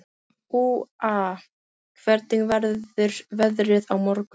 Úa, hvernig verður veðrið á morgun?